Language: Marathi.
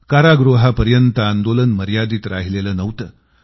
कारागृहापर्यंत आंदोलन मर्यादित राहिलेलं नव्हतं